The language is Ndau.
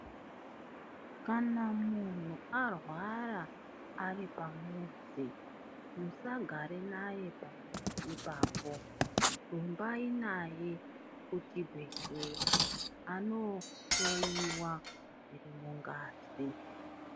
Kana munhu arwara ari pamuzi, musagare nayeba ipapo, rumbai naye kuchibhedhlera, anohloiwa zviri mungazi.